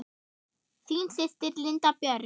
Þín systir, Linda Björk.